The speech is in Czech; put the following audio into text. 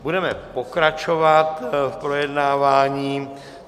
Budeme pokračovat v projednávání.